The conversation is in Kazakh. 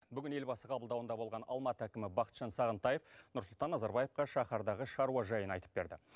бүгін елбасы қабылдауында болған алматы әкімі бақытжан сағынтаев нұрсұлтан назарбаевқа шаһардағы шаруа жайын айтып берді